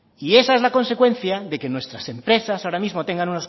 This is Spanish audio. esa es la consecuencia de que nuestras empresas ahora mismo tengan